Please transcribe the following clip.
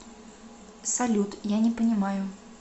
салют я не понимаю